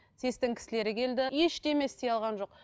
сэс тің кісілері келді ештеме істей алған жоқ